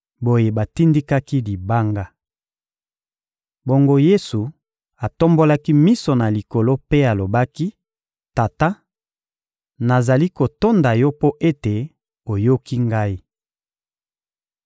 Boye batindikaki libanga. Bongo Yesu atombolaki miso na likolo mpe alobaki: «Tata, nazali kotonda Yo mpo ete oyoki Ngai.